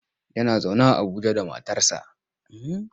Yana zaune a Abuja da matarsa.